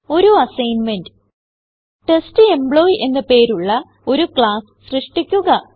ഒരു assignment test employee എന്ന് പേരുള്ള ഒരു ക്ലാസ്സ് സൃഷ്ടിക്കുക